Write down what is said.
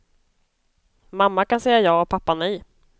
Mamma kan säga ja och pappa nej.